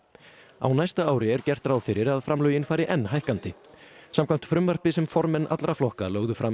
á næsta ári er gert ráð fyrir að framlögin fari enn hækkandi samkvæmt frumvarpi sem formenn allra flokka lögðu fram í